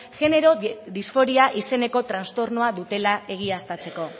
genero disforia izeneko trastornoa dutela egiaztatzeko